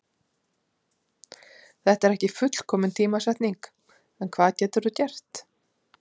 Þetta er ekki fullkomin tímasetning en hvað getur þú gert?